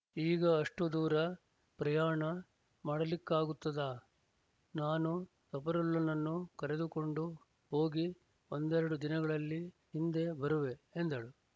ಈಗ ಅಷ್ಟು ದೂರ ಪ್ರಯಾಣ ಮಾಡಲಿಕ್ಕಾಗುತ್ತದಾ ನಾನು ಸಫರುಲ್ಲನನ್ನು ಕರೆದುಕೊಂಡು ಹೋಗಿ ಒಂದೆರಡು ದಿನಗಳಲ್ಲಿ ಹಿಂದೆ ಬರುವೆ ಎಂದಳು